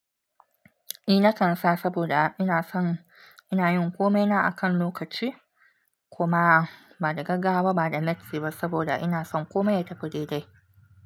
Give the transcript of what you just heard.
Eh na kan sa saboda ina son ina yin komai na akan lokaci kuma ba da gaggawa ba da matsi ba saboda ina son komai ya tafi daidai.